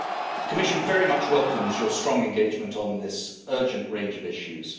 The Commission very much welcomes your strong engagement on this urgent range of issues.